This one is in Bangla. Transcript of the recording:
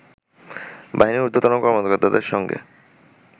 বাহিনীর ঊর্ধ্বতন কর্মকর্তাদের সঙ্গে